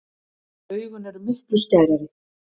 Augun eru miklu skærari.